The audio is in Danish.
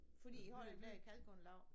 Fordi I har den der kalgården lav